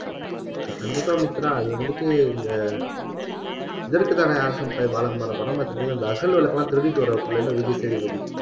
கண்டிப்பா மித்ரா அது வந்துட்டு இந்த இதற்குத்தானே ஆசைப்பட்டாய் பாலகுமாரா படம் பாத்துருக்கீங்களா இந்த அகல் விளக்கு எல்லாம் திருடிட்டு வருவாப்புல விஜய் சேதுபதி